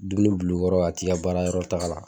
Dumuni bil'u kɔrɔ ka t'i baarayɔrɔ taga la